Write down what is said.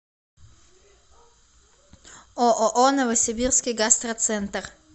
ооо новосибирский гастроцентр